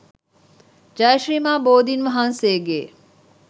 ජය ශ්‍රී මහා බෝධීන් වහන්සේගේ